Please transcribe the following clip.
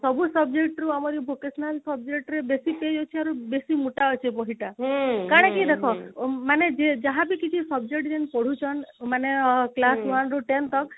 ହଁ ସବୁ subject ରୁ ଆମର ଯୋଉ vocational subject ରେ ବେଶୀ ଦେଇ ଦେଇ ଥିବାରୁ ବେଶୀ ମୋଟା ଅଛି ବହି ଟା କାରଣ କି ଦେଖ ମାନେ ଯେଇ ଯାହା ବି କିଛି subject ପଢୁଛନ ମାନେ class one ରୁ ten ତକ ସେଇଟା ମାନେ